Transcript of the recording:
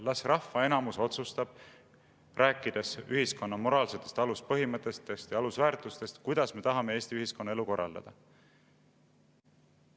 Las rahva enamus otsustab, rääkides ühiskonna moraalsetest aluspõhimõtetest ja alusväärtustest, kuidas me tahame Eesti ühiskonna elu korraldada.